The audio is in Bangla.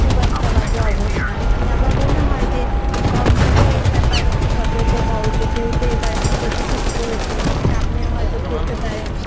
খুব একটা বাজে অবস্থা আরকি আমার মনে হয় যে govement এর এই ব্যপারে একটু সতর্ক হওয়া উচিত যেহেতু এবারে এত বেশী শীত পরেছে সামনেও হয়ত পড়তে পারে